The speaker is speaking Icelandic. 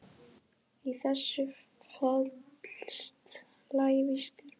Í þessu felst lævís gildra.